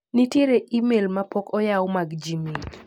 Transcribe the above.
Nitiere imel ma pok oyaw mag gmail.